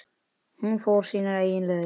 Hún fór sínar eigin leiðir.